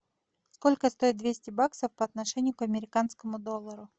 сколько стоит двести баксов по отношению к американскому доллару